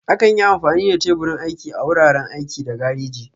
Akan yi amfani da teburin aiki a wuraren aiki da gareji.